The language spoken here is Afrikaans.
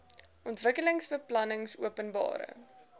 ontwikkelingsbeplanningopenbare